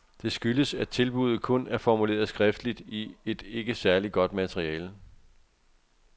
Det skyldes, at tilbudet kun er formuleret skriftligt i et ikke særlig godt materiale.